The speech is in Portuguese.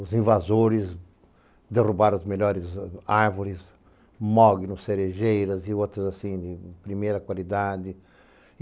Os invasores derrubaram as melhores árvores, mognos, cerejeiras e outras assim de primeira qualidade.